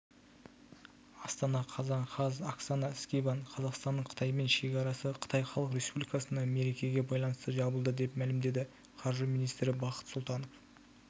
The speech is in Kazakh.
астана қазан қаз оксана скибан қазақстанның қытаймен шекарасы қытай халық республикасындағы мерекеге байланысты жабылды деп мәлімдеді қаржы министрі бақыт сұлтанов